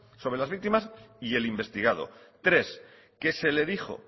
sobre las víctimas y el investigado tres que se le dijo